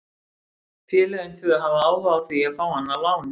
Félögin tvö hafa áhuga á því að fá hann á láni.